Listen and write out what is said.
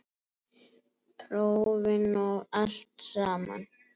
Prófin og allt samana.